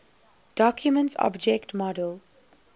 document object model